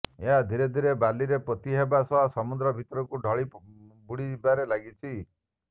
ଏହା ଧୀରେ ଧୀରେ ବାଲିରେ ପୋତି ହେବା ସହ ସମୁଦ୍ର ଭିତରକୁ ଢଳି ବୁଡ଼ିବାରେ ଲାଗିଛି